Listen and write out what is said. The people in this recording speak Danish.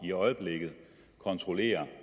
i øjeblikket kontrollerer